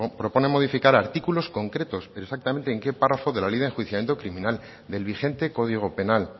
propone modificar artículos concretos exactamente en qué párrafo de la ley de enjuiciamiento criminal del vigente código penal